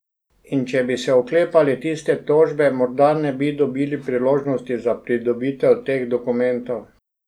In če bi se oklepali tiste tožbe, morda ne bi dobili priložnosti za pridobitev teh dokumentov.